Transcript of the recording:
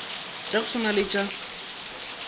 tša go swana le tša